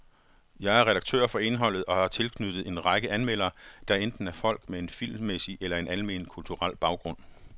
Jeg er redaktør for indholdet og har tilknyttet en række anmeldere, der enten er folk med en filmmæssig eller en almen kulturel baggrund.